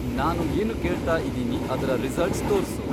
ನಾನು ಏನು ಕೇಳ್ತಾ ಇದೀನಿ ಅದ್ರ ರಿಸಲ್ಟ್ಸ್ ತೋರ್ಸು